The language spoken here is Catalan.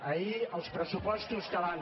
ahir els pressupostos que van